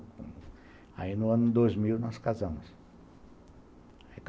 Aí no ano dois mil nós casamos.